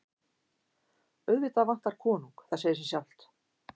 Auðvitað vantar konung, það segir sig sjálft.